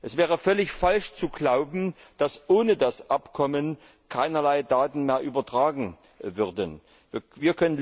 Es wäre völlig falsch zu glauben, dass ohne das Abkommen keinerlei Daten mehr übertragen werden würden.